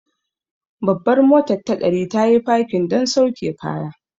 Babbar motar ta ɗari, tayi fakin don sauke kaya.